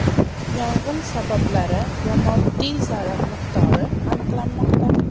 Yong‘in sabablari va moddiy zarar miqdori aniqlanmoqda.